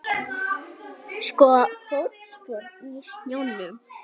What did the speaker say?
Fótspor í snjónum.